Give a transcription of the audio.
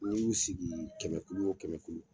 N'i y'u sigi kɛmɛkulu o kɛmɛkulu